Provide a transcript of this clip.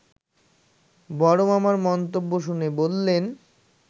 বড় মামার মন্তব্য শুনে বললেন